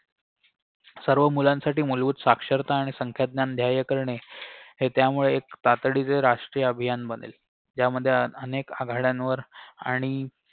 सर्व मुलांसाठी मूलभूत साक्षरता आणि संख्याज्ञान ध्याय करणे हे त्यामुळे एक तातडीचे राष्ट्रीय अभियान बनेल त्यामध्ये अनेक आघाड्यांवर आणि